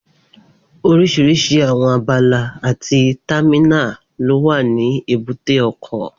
Oríṣiríṣi àwọn abala àti támínà ló wà ní èbúté ọkọ̀